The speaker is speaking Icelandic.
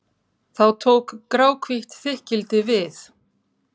Þá tók gráhvítt þykkildi við.